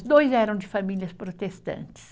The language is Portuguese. Os dois eram de famílias protestantes.